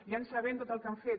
ja sabem tot el que han fet